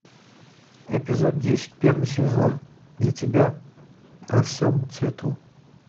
эпизод десять первый сезон для тебя во всем цвету